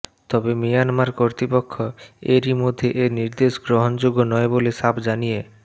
তবে মিয়ানমার কর্তৃপক্ষ এরই মধ্যে এ নির্দেশ গ্রহণযোগ্য নয় বলে সাফ জানিয়ে